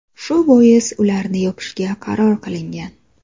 Shu bois ularni yopishga qaror qilingan.